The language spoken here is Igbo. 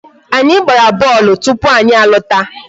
Anyị gbara bọọlụ tupu anyị lọta.